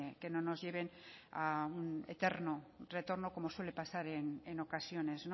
que no nos lleven a un eterno retorno como suele pasar en ocasiones